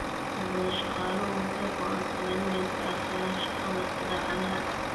Inta badan shaqaaluhu waxay go’aansadeen inay iska casilaan shaqada idaacadaha.